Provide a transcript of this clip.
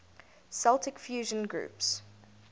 celtic fusion groups